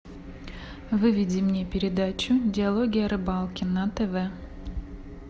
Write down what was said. выведи мне передачу диалоги о рыбалке на тв